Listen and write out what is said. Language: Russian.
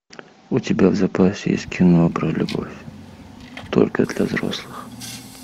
у тебя в запасе есть кино про любовь только для взрослых